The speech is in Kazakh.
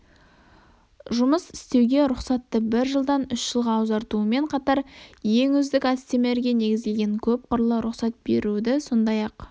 жұмыс істеуге рұқсатты бір жылдан үш жылға ұзартуымен қатар ең үздік әдістемелерге негізделген көпқырлы рұқсат беруді сондай-ақ